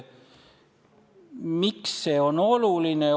Miks see oluline on?